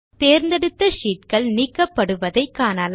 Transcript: தேர்ந்தெடுத்த sheetகள் நீக்கப்படுவதை காணலாம்